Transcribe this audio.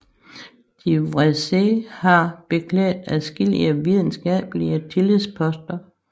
De Vreese har beklædt adskillige videnskabelige tillidsposter